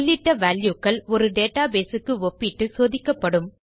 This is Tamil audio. உள்ளிட்ட வால்யூ க்கள் ஒரு டேட்டாபேஸ் க்கு ஒப்பிட்டு சோதிக்கப்படும்